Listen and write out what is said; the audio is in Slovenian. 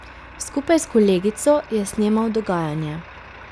Skupaj s kolegico je snemal dogajanje.